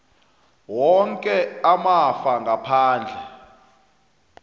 woke amafa ngaphandle